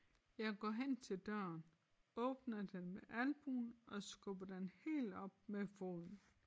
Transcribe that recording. Jeg går hen til døren åbner den med albuen og skubber den helt op med foden